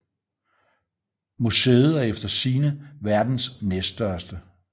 Museet er efter sigende verdens næststørste